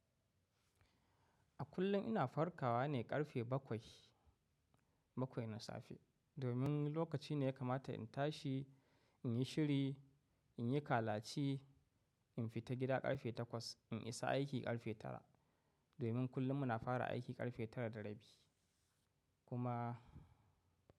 A kullum ina farkawa ne ƙarfe bakwai, bakwai na safe. Domin lokaci ne ya kamata in tashi, in yi shiri, in yi kalaci, in fita gida ƙarfe takwas, in isa aiki ƙarfe tara. Domin kullum muna fara aiki ƙarfe tara da rabi kuma.